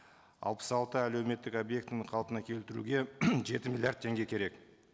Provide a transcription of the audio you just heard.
алпыс алты әлеуметтік объектіні қалпына келтіруге жеті миллиард теңге керек